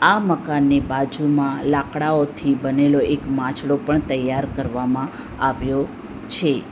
આ મકાનની બાજુમાં લાકડાઓથી બનેલો એક માછડો પણ તૈયાર કરવામાં આવ્યો છે.